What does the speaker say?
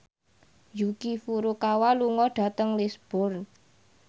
Yuki Furukawa lunga dhateng Lisburn